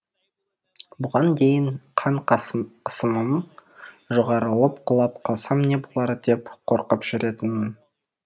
бұған дейін қан қысымым жоғарылып құлап қалсам не болар деп қорқып жүретінмін